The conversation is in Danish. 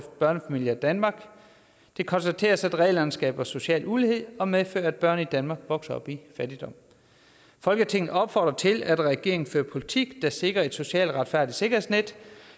børnefamilier i danmark det konstateres at reglerne skaber social ulighed og medfører at børn i danmark vokser op i fattigdom folketinget opfordrer til at regeringen fører politik der sikrer et socialt retfærdigt sikkerhedsnet